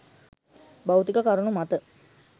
භෞතික කරුණු මත